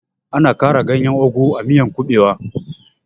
Ana ƙara ganyen ogu a miyan kuɓewa